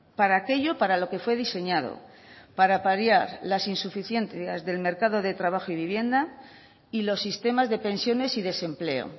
para aquello para lo que fue diseñado para paliar las insuficiencias del mercado de trabajo y vivienda y los sistemas de pensiones y desempleo